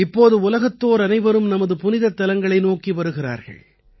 இப்போது உலகத்தோர் அனைவரும் நமது புனிதத்தலங்களை நோக்கி வருகிறார்கள்